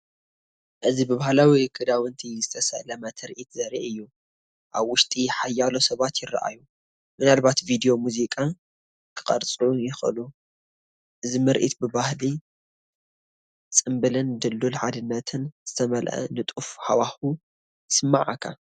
እዚ ብባህላዊ ክዳውንቲ ዝተሰለመ ትርኢት ዘርኢ እዩ። ኣብ ውሽጢ ሓያሎ ሰባት ይረኣዩ፡ ምናልባት ቪድዮ ሙዚቃ ክቐርጹ ይኽእሉ። እዚ ምርኢት ብባህሊ፡ ጽምብልን ድልዱል ሓድነትን ዝተመልአ ንጡፍ ሃዋህው ይስመዓካ።